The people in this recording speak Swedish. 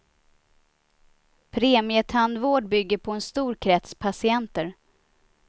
Premietandvård bygger på en stor krets patienter.